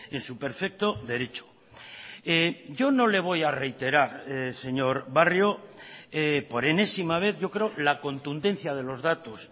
en su perfecto derecho yo no le voy a reiterar señor barrio por enésima vez yo creo la contundencia de los datos